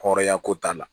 Hɔrɔnya ko t'a la